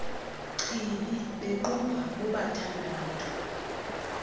chibi bequbha bobathandathu